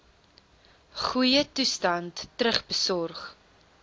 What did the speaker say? goeie toestand terugbesorg